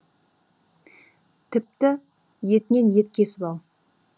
тіпті етінен ет кесіп ал